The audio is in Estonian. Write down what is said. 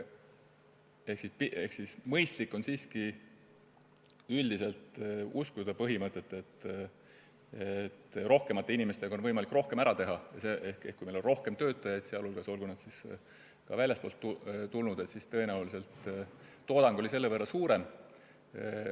Üldiselt on siiski mõistlik uskuda põhimõtet, et rohkemate inimestega on võimalik rohkem ära teha – kui meil on rohkem töötajaid, olgu nad väljastpoolt tulnud või mitte, siis tõenäoliselt on toodangu maht selle võrra suurem.